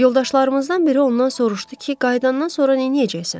Yoldaşlarımızdan biri ondan soruşdu ki, qayıdandan sonra neynəyəcəksən?